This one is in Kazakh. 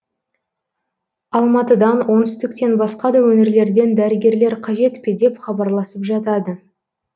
алматыдан оңтүстіктен басқа да өңірлерден дәрігерлер қажет пе деп хабарласып жатады